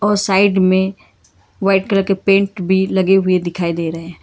Side में white colour के paint भी लगे हुए दिखाई दे रहे हैं।